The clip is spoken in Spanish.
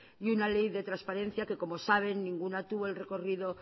y una ley de transparencia que como saben ninguna tuvo el recorrido